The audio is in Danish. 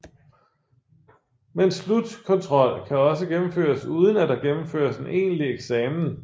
Men slutkontrol kan også gennemføres uden at der gennemføres en egentlig eksamen